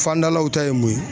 Fandalaw ta ye mun ye